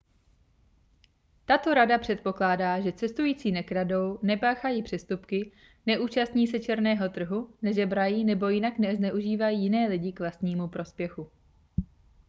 tato rada předpokládá že cestující nekradou nepáchají přestupky neúčastní se černého trhu nežebrají nebo jinak nezneužívají jiné lidi k vlastnímu prospěchu